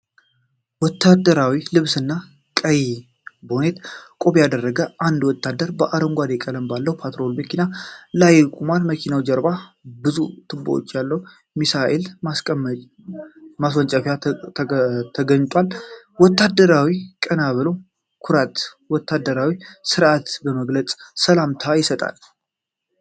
ወታደራዊ ልብስና ቀይ ባሬት (ቆብ) ያደረገ አንድ ወታደር በአረንጓዴ ቀለም ባለው ፓትሮል መኪና ላይ ቆሟል። ከመኪናው ጀርባ ብዙ ቱቦዎች ያለው የሚሳኤል ማስወንጨፊያ ተገጥሟል። ወታደሩ ቀና ብሎ ኩራትና ወታደራዊ ሥርዓትን በመግለጽ ሰላምታ ይሰጣል።